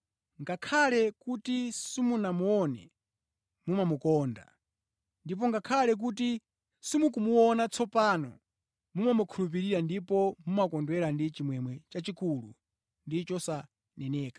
Ngakhale kuti simunamuone, mumamukonda; ndipo ngakhale kuti simukumuona tsopano, mumamukhulupirira ndipo mumakondwera ndi chimwemwe chachikulu ndi chosaneneka.